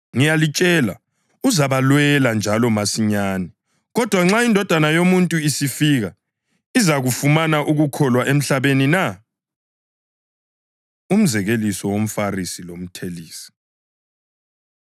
Ngiyalitshela, uzabalwela, njalo masinyane. Kodwa, nxa iNdodana yoMuntu isifika, izakufumana ukukholwa emhlabeni na?” Umzekeliso WomFarisi LoMthelisi